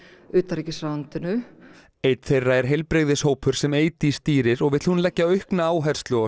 utanríkisráðuneytinu einn þeirra er heilbrigðishópur sem Eydís stýrir og vill hún leggja aukna áherslu á